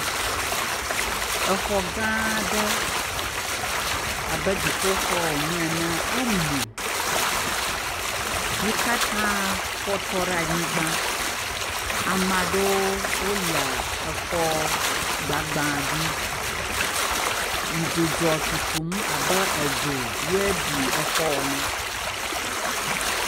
Xɔ gã aɖe abe dziƒoxɔ wonye enea, emu, yi katã fɔtɔ ɖe anyigba. Ame aɖewo le xɔ gbagbã dzi. Dzidzɔ tutum abe dzo ye bi xɔ ene.